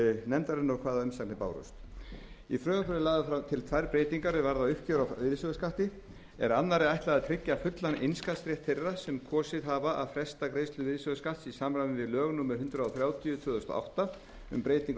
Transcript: nefndarinnar og hvaða umsagnir bárust í frumvarpinu eru lagðar til tvær breytingar sem varða uppgjör á virðisaukaskatti er annarri ætlað að tryggja fullan innskattsrétt þeirra sem kosið hafa að fresta greiðslu virðisaukaskatts í samræmi við lög númer hundrað þrjátíu tvö þúsund og átta um breyting á